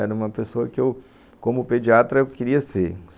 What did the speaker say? Era uma pessoa que eu, como pediatra, eu queria ser.